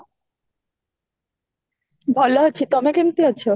ଭଲ ଅଛି, ତମେ କେମିତି ଅଛ?